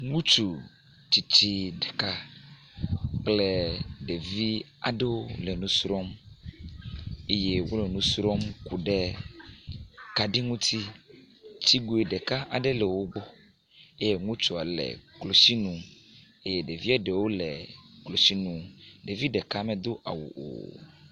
Ŋutsu tsitsi ɖeka kple ɖevi aɖewo le nusrɔ̃m, wole nu srɔ̃m ku ɖe kaɖi ŋuti, si gbeɖo ɖevi ɖeka aɖe le wogbɔ eye ŋutsua le klotsinu eye ɖevia ɖewo le klotsinu eye ɖevia ɖeka medo awu o